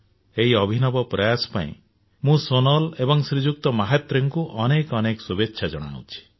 ଏହି ଅଭିନବ ପ୍ରୟାସ ପାଇଁ ମୁଁ ସୋନାଲ ଏବଂ ଶ୍ରୀଯୁକ୍ତ ମାହାତ୍ରେଙ୍କୁ ଅନେକ ଅନେକ ଶୁଭେଚ୍ଛା ଜଣାଉଛି